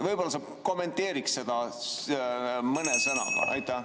Võib-olla sa kommenteeriksid seda mõne sõnaga?